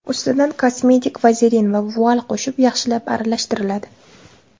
Ustidan kosmetik vazelin va vual qo‘shib, yaxshilab aralashtiriladi.